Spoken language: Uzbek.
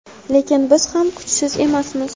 Lekin biz ham kuchsiz emasmiz.